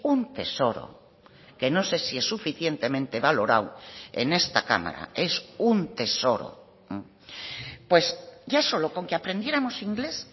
un tesoro que no sé si es suficientemente valorado en esta cámara es un tesoro pues ya solo con que aprendiéramos inglés